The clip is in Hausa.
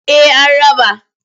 Eh an raba.